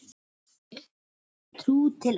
Trú til enda.